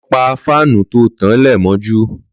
Lọ pà fànú tó tán lẹ mọjú